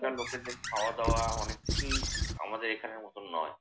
ওখানকার লোকেদের খাওয়া-দাওয়া অনেক কিছুই আমাদের এখানের মতন নয়।